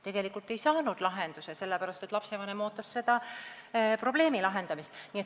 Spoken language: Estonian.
Tegelikult ei saanud lahendust, sest lapsevanem ootas probleemi lahendamist.